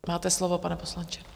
Máte slovo, pane poslanče.